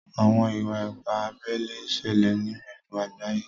Àwọn ìwà-ìpà àbèlè n ṣèlè ní gbogbo àgbàyé.